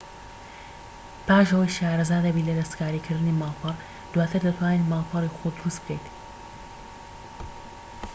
پاش ئەوەی شارەزا دەبیت لە دەستکاریکردنی ماڵپەڕ دواتر دەتوانیت ماڵپەڕی خۆت دروست بکەیت